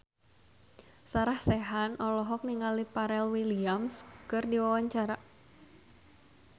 Sarah Sechan olohok ningali Pharrell Williams keur diwawancara